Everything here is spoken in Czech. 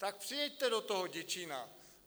Tak přijeďte do toho Děčína!